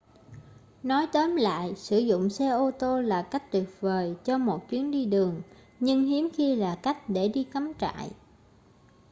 nói tóm lại sử dụng xe ô tô là cách tuyệt vời cho một chuyến đi đường nhưng hiếm khi là cách để đi cắm trại